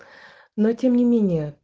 но тем не менее